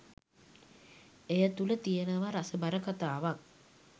එය තුල තියනව රසබර කතාවක්